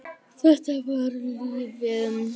Þetta var lífið.